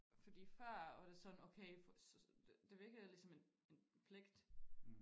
Fordi før var det sådan okay det virkede ligesom en pligt